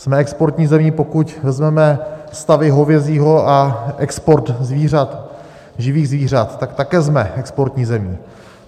Jsme exportní zemí, pokud vezmeme stavy hovězího a export živých zvířat, tak také jsme exportní zemí.